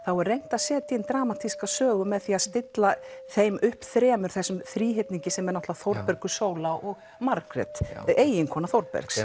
er reynt að setja inn dramatíska sögu með því að stilla þeim upp þremur þessum þríhyrningi sem er Þórbergur sóla og Margrét eiginkona Þórbergs